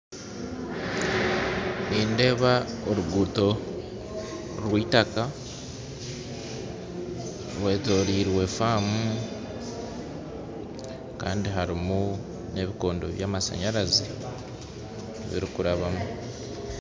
Nindeeba oruguto rwa itaka rwetorirwe faamu kandi harimu na ebikondo bya masanyarazi birukurabamu